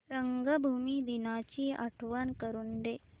रंगभूमी दिनाची आठवण करून दे